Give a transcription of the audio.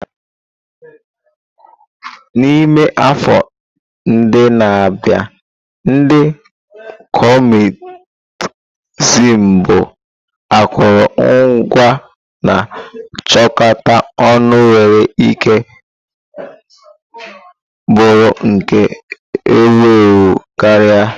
N'ime afọ ndị na-abịa, ndị Kọmunist bụ akụrụngwa na-achịkọta ọnụ nwere ike bụrụ nke ewu ewu karịa.